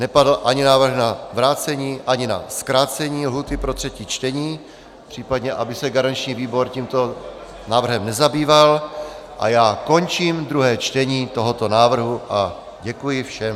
Nepadl ani návrh na vrácení, ani na zkrácení lhůty pro třetí čtení, případně aby se garanční výbor tímto návrhem nezabýval, a já končím druhé čtení tohoto návrhu a děkuji všem.